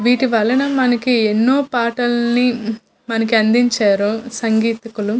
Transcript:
వీటి వలన మనకి ఎన్నో పాటలలని హు మనకి అందించారు సంగీతకులు.